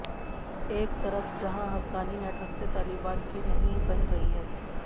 एक तरफ जहां हक्कानी नेटवर्क से तालिबान की नहीं बन रही है